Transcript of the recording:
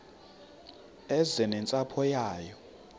eze nentsapho yayo